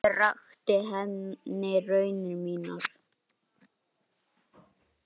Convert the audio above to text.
Ég rakti henni raunir mínar.